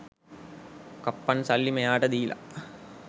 කප්පන් සල්ලි මෙයාට දීල